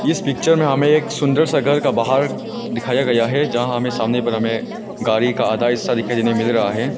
इस पिक्चर में हमें एक सुंदर सा घर का बाहर दिखाया गया है यहां हमें सामने पर हमें गाड़ी का आधा हिस्सा दिखाई देने मिल रहा है।